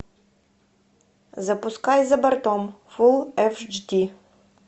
запускай за бортом фул эйч ди